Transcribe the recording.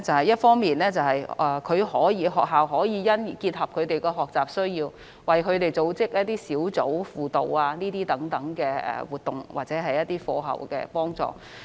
一方面，學校可因應他們的學習需要，為他們組織一些小組輔導等活動或課後輔助活動。